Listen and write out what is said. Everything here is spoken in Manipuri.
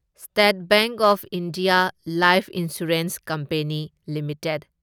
state bank of India life insurance company limited